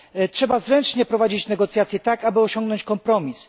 Trzeba zręcznie prowadzić negocjacje, aby osiągnąć kompromis.